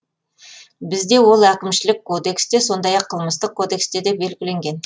бізде ол әкімшілік кодексте сондай ақ қылмыстық кодексте де белгіленген